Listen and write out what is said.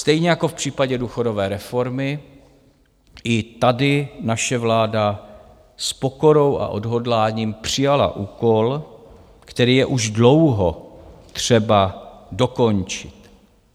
Stejně jako v případě důchodové reformy i tady naše vláda s pokorou a odhodláním přijala úkol, který je už dlouho třeba dokončit.